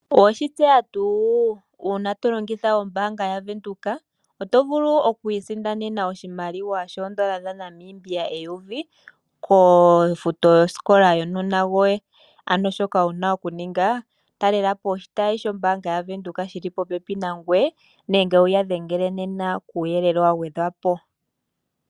Owe shi tseya tu una to longitha ombaanga yaVenduka, oto vulu okwii sindanena oshimaliwa shoodola dhaNamibia eyovi lyofuto yosikola yokaana koye, ano shono wuna oku ninga talele po oshitayi shombaanga yaVenduka shoka shili popepi nangweye nenge wuya dhengele nena ku yelele wa gwe dhwa po.